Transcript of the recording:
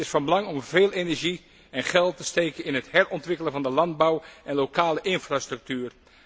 Het is van belang om veel energie en geld te steken in het herontwikkelen van de landbouw en lokale infrastructuur.